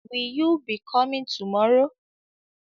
Will you be coming tomorrow?